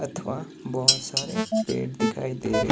अथवा बहुत सारे पेड़ दिखाई दे रहे--